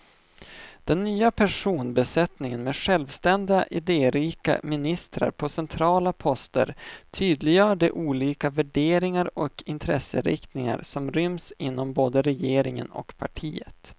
Den nya personbesättningen med självständiga, idérika ministrar på centrala poster tydliggör de olika värderingar och intresseinriktningar som ryms inom både regeringen och partiet.